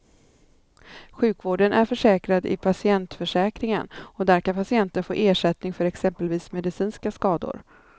Sjukvården är försäkrad i patientförsäkringen och där kan patienten få ersättning för exempelvis medicinska skador.